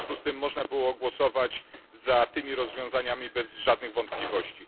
W związku z tym można było głosować za tymi rozwiązaniami bez żadnych wątpliwości.